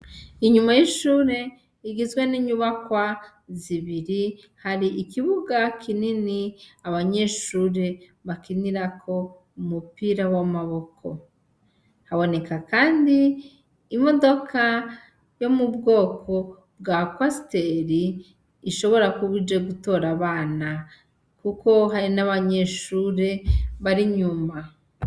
Inyuma y'ishure igizwe n'inyubakwa zibiri hari ikibuga kinini abanyeshure bakinirako umupira w'amaboko, haboneka kandi imodoka yo mubwoko bwa kwasiteri ishobora kuba ije gutora abana kuko hari n'abanyeshuri bari inyuma.